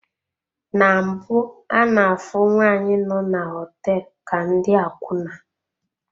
Na mbụ ana-afụ nwaanyị nọ na hoteelu ka ndị akwuna.